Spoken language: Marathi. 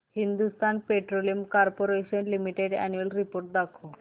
Hindustan Petroleum Corporation Limited annual report दाखव